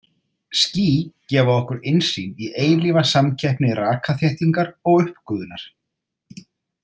Ský gefa okkur innsýn í eilífa samkeppni rakaþéttingar og uppgufunar.